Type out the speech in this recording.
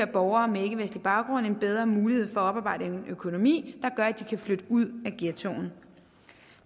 borgere med ikkevestlig baggrund en bedre mulighed for at oparbejde en økonomi der gør at de kan flytte ud af ghettoen